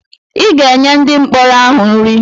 Ị ga-enye ndị mkpọrọ ahụ nri!